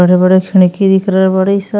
बड़े बड़े खिड़की दिख रहे बड़ीसा।